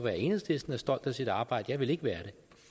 at enhedslisten er stolt af sit arbejde jeg ville ikke være